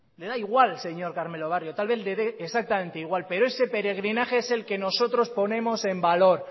le da igual señor carmelo barrio tal vez le dé exactamente igual pero ese peregrinaje es el que nosotros ponemos en valor